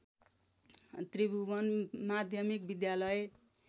त्रिभुवन माध्यमिक विद्यालय